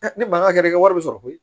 ne bangan kɛra ne ka wari bɛ sɔrɔ koyi